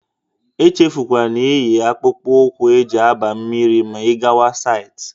Echefukwala inyi akpụkpụ ụkwụ e ji aba mmiri ma ị gawa saịtị